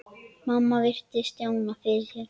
Mamma virti Stjána fyrir sér.